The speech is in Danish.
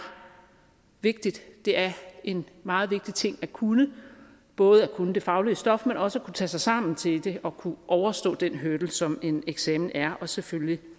vigtigt det er en meget vigtig ting at kunne både at kunne det faglige stof men også at kunne tage sig sammen til det og kunne overstå den hurdle som en eksamen er og selvfølgelig